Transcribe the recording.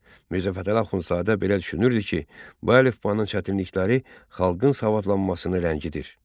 Mirzə Fətəli Axundzadə belə düşünürdü ki, bu əlifbanın çətinlikləri xalqın savadlanmasını ləngidir.